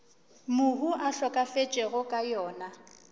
mohu a hlokafetšego ka yona